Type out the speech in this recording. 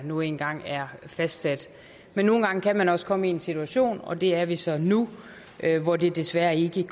nu engang er fastsat men nogle gange kan man også komme i en situation og det er vi så nu hvor det desværre ikke